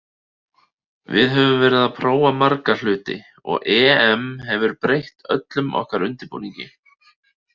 Við höfum verið að prófa marga hluti og EM hefur breytt öllum okkar undirbúningi.